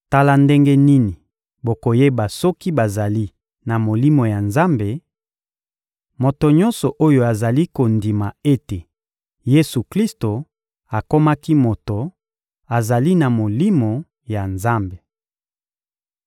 Tala ndenge nini bokoyeba soki bazali na Molimo ya Nzambe: moto nyonso oyo azali kondima ete Yesu-Klisto akomaki moto azali na Molimo ya Nzambe.